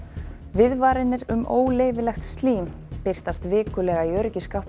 viðvaranir um óleyfilegt slím birtast vikulega í